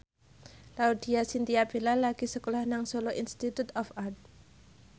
Laudya Chintya Bella lagi sekolah nang Solo Institute of Art